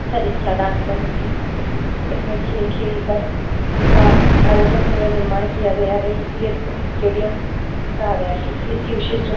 तथा जिसके आधार पर इसकी इसमें खेल खेल कर इसका आयोजन व निर्माण किया गया है इसका स्टेडियम कहा गया है क्योंकि इसकी विशेष सुं --